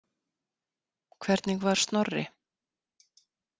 Hvernig var Snorri?